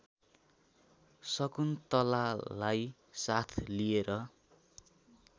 शकुन्तलालाई साथ लिएर